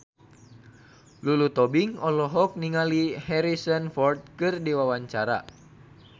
Lulu Tobing olohok ningali Harrison Ford keur diwawancara